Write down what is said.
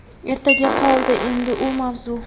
Ertaga qoldi endi u mavzu.